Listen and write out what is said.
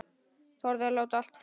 Þorði að láta allt flakka.